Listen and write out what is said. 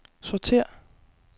sortér